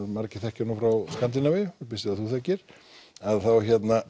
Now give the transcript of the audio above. margir þekkja nú frá Skandinavíu ég býst við að þú þekkir að þá